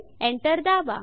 enter दाबा